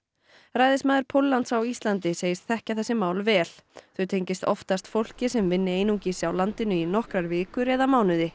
ræðismaður Póllands á Íslandi segist þekkja þessi mál vel þau tengist oftast fólki sem vinni einungis á landinu í nokkrar vikur eða mánuði